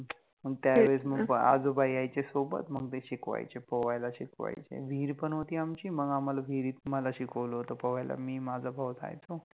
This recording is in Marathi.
त्यावेळेस मंग आजोबा यायचे सोबत मंग ते शिकवायचे पोवायला शिकवायचे, विहिर पण होति आमचि, मग आम्हाला विहरीत मला शिकवल होत पोवायला, मी-माझा भाउ जायचो